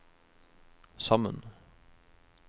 sammen